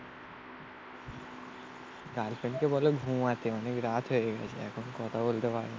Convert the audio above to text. গার্লফ্রেন্ডকে বলে ঘুম আছে. অনেক রাত হয়ে গেছে. এখন কথা বলতে পারিনি.